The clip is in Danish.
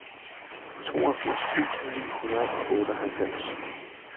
toogfirs tusind ni hundrede og otteoghalvfems